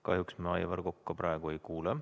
Kahjuks me Aivar Kokka praegu ei kuule.